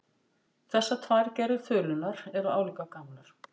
Þessar tvær gerðir þulunnar eru álíka gamlar.